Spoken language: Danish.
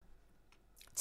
TV 2